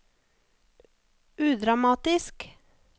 udramatisk